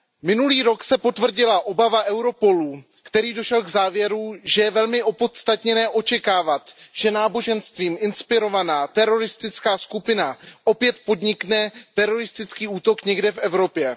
Minulý rok se potvrdila obava Europolu, který došel k závěru, že je velmi opodstatněné očekávat, že náboženstvím inspirovaná teroristická skupina opět podnikne teroristický útok někde v Evropě.